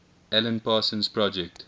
alan parsons project